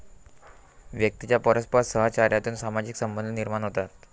व्यक्तीच्या परस्पर सहचार्यातून सामाजिक संबंध निर्माण होतात.